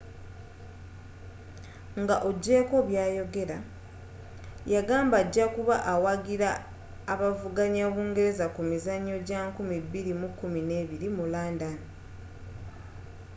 nga ogyeko byayogera yagamba ajakuba awagira abavuganya bungereza ku mizanyo gya 2012 mu london